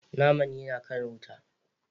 Naman naman yana kan wuta.